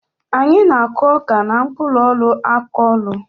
Anyị na-akụ ọka n'mkpụlụ-ọlụ akọlụ.